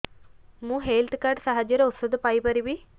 ମୁଁ health card ସାହାଯ୍ୟରେ ଔଷଧ ପାଇ ପାରିବି